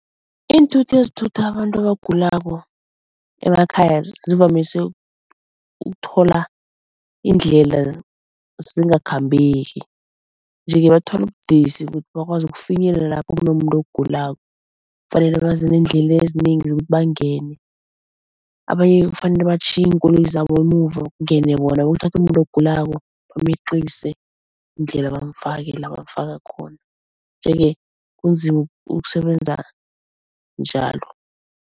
Iinthuthi ezithutha abantu abagulako emakhaya zivamise ukuthola iindlela zingakhambeki nje-ke bathwala ubudisi bakwazi ukufinyelela lapho kunomuntu ogulako. Kufanele baze neendlela ezinengi zokuthi bangene, abanye kufanele batjhiye iinkoloyi zabo emuva kungene bokuthatha umuntu ogulako bameqise indlela bamfake la bamfaka khona, nje-ke kunzima ukusebenza njalo.